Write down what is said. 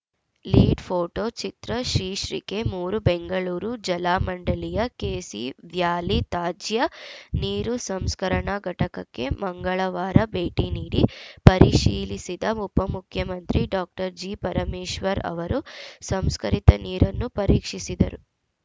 lead photo ಚಿತ್ರ ಶೀರ್ಷಿಕೆ ಮೂರು ಬೆಂಗಳೂರು ಜಲಮಂಡಳಿಯ ಕೆಸಿ ವ್ಯಾಲಿ ತ್ಯಾಜ್ಯ ನೀರು ಸಂಸ್ಕರಣಾ ಘಟಕಕ್ಕೆ ಮಂಗಳವಾರ ಭೇಟಿ ನೀಡಿ ಪರಿಶೀಲಿಸಿದ ಉಪಮುಖ್ಯಮಂತ್ರಿ ಡಾಕ್ಟರ್ ಜಿಪರಮೇಶ್ವರ್‌ ಅವರು ಸಂಸ್ಕರಿತ ನೀರನ್ನು ಪರೀಕ್ಷಿಸಿದರು